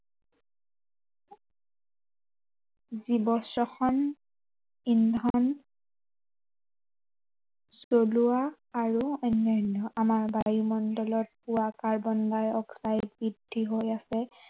জীৱ স্বখন, ইন্ধন চলোৱা আৰু অন্য়ান্য়। আমাৰ বায়ুমণ্ডলত পোৱা কাৰ্বন ডাই অক্সাইড বৃদ্ধি হৈ আছে।